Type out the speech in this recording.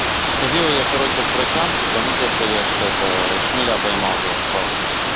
сходил я короче к врачам типа ну то что я ж это шмеля поймал ёлки палки